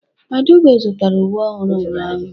Adaugo zụtara uwe ọhụrụ ụnyahụ.